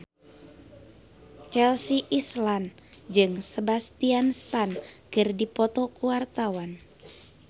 Chelsea Islan jeung Sebastian Stan keur dipoto ku wartawan